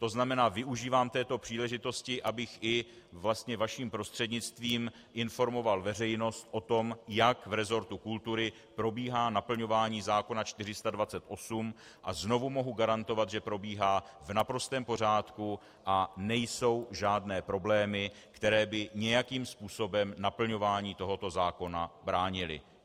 To znamená, využívám této příležitosti, abych i vlastně vaším prostřednictvím informoval veřejnost o tom, jak v resortu kultury probíhá naplňování zákona 428, a znovu mohu garantovat, že probíhá v naprostém pořádku a nejsou žádné problémy, které by nějakým způsobem naplňování tohoto zákona bránily.